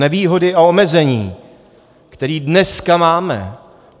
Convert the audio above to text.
Nevýhody a omezení, které dneska máme.